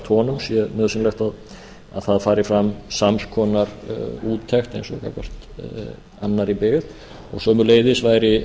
honum sé nauðsynlegt að fari fram sams konar úttekt eins og var gagnvart annarri byggð og sömuleiðis væri